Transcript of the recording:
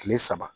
Kile saba